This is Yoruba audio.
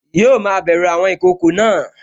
Yíò ma bẹ̀ru àwọn ìkokò náà